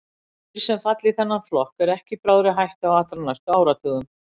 Dýr sem falla í þennan flokk eru ekki í bráðri hættu á allra næstu áratugum.